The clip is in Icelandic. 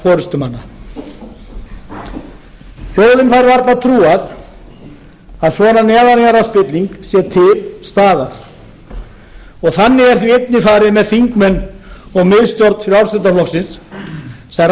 forustumanna varla trúað að svona neðanjarðarspilling sé til staðar þannig er því einnig farið með þingmenn og miðstjórn frjálsl sem